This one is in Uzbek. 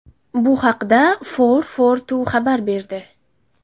Bu haqda FourFourTwo xabar berdi .